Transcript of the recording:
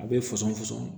A bɛ fɔsɔn fɔsɔn